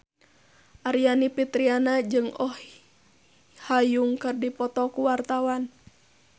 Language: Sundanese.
Aryani Fitriana jeung Oh Ha Young keur dipoto ku wartawan